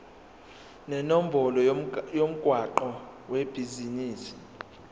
nenombolo yomgwaqo webhizinisi